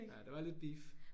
Nej der var lidt beef